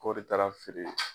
O de taara feere